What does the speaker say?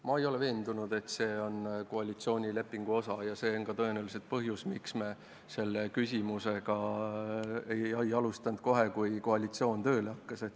Ma ei ole veendunud, et see on koalitsioonilepingu osa, ja see on ka tõenäoliselt põhjus, miks me selle küsimusega ei alustanud kohe, kui koalitsioon tööle hakkas.